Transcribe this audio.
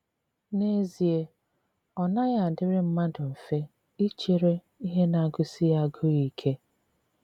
N’ezie, ọ naghị adịrị mmadụ mfe ichere ihe na - agụsi ya agụụ ike.